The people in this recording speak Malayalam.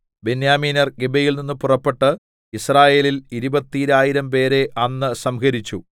ബെന്യാമീന്യർ ഗിബെയയിൽനിന്ന് പുറപ്പെട്ട് യിസ്രായേല്യരിൽ ഇരുപത്തീരായിരംപേരെ അന്ന് സംഹരിച്ചു